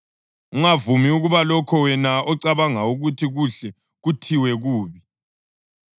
Ungavumi ukuba lokho wena ocabanga ukuthi kuhle kuthiwe kubi.